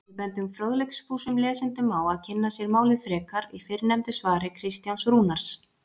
Við bendum fróðleiksfúsum lesendum á að kynna sér málið frekar í fyrrnefndu svari Kristjáns Rúnars.